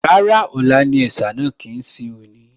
Rárá, ọ̀la ni ẹ̀sà náà kì í ṣe òní